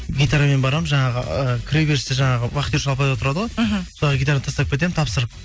гитарамен барамын жаңағы ы кіреберісте жаңағы вахтерші апай отырады ғой мхм соларға гитараны тастап кетемін тапсырып